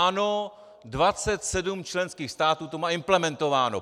Ano, 27 členských států to má implementováno.